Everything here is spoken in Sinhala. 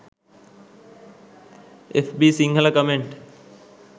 fb sinhala comment